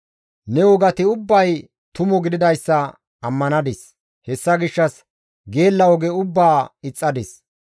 Ne wogati ubbay tumu gididayssa ammanadis; hessa gishshas geella oge ubbaa ixxadis.